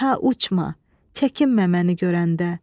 Ta uçma, çəkinmə məni görəndə.